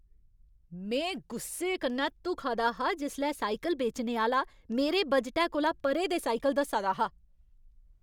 में गुस्से कन्नै धुखा दा हा जिसलै साइकल बेचने आह्‌ला मेरे बजटै कोला परे दे साइकल दस्सा दा हा।